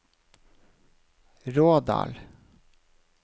Rådal